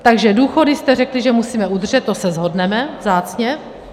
Takže důchody jste řekli, že musíme udržet, to se shodneme vzácně.